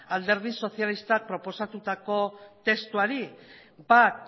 alderdi sozialistak aurkeztutako testuari bat